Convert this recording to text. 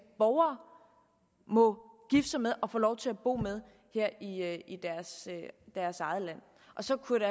borgere må gifte sig med og få lov til at bo sammen med her i deres eget land og så kunne